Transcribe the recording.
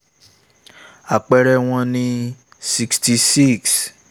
àpẹẹrẹ wọn ni: ---66 ---(i)